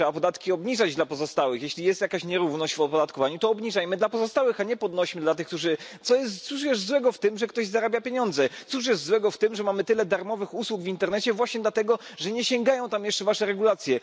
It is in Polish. Trzeba podatki obniżać dla pozostałych. Jeśli jest jakaś nierówność w opodatkowaniu, to obniżajmy dla pozostałych, a nie podnośmy, cóż jest złego w tym, że ktoś zarabia pieniądze. Cóż jest złego w tym, że mamy tyle darmowych usług w internecie, właśnie dlatego, że nie sięgają tam jest wasze regulacje.